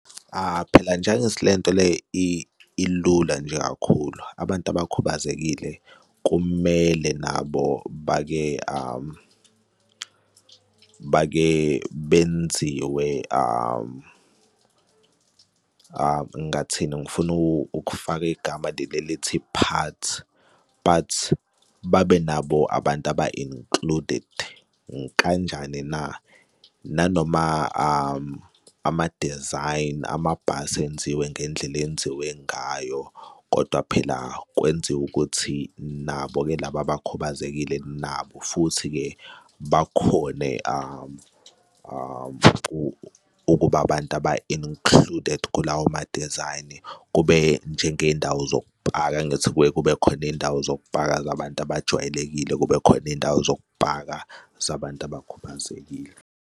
Phela nje angithi le nto le ilula nje kakhulu, abantu abakhubazekile kumele nabo bake bake benziwe ngathini, ngifuna ukufaka igama leli elithi part but babe nabo abantu aba-included kanjani na? Nanoma ama-design amabhasi enziwe ngendlela enziwe ngayo, kodwa phela kwenziwe ukuthi nabo-ke laba abakhubazekile nabo futhi-ke bakhone ukuba abantu aba-included. Kulawo ma-design kube njengey'ndawo zokupaka angithi kuke kube khona iy'ndawo zokupaka zabantu abajwayelekile, kube khona iy'ndawo zokupaka zabantu abakhubazekile.